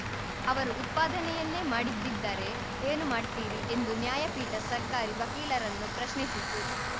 ಅವರು ಉತ್ಪಾದನೆಯನ್ನೇ ಮಾಡಿದಿದ್ದರೆ ಏನು ಮಾಡ್ತೀರಿ ಎಂದೂ ನ್ಯಾಯಪೀಠ ಸರ್ಕಾರಿ ವಕೀಲರನ್ನು ಪ್ರಶ್ನಿಸಿತು